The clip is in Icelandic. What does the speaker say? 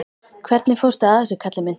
Hvernig fórstu að þessu, kallinn minn?